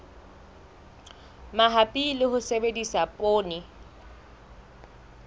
mabapi le ho sebedisa poone